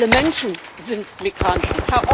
Alle Menschen sind Migranten.